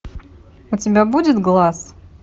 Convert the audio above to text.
у тебя будет глаз